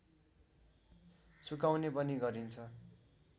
सुकाउने पनि गरिन्छ